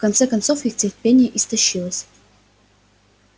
в конце концов их терпение истощилось